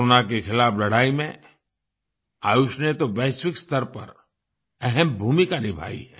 corona के खिलाफ लड़ाई में आयुष ने तो वैश्विक स्तर पर अहम भूमिका निभाई है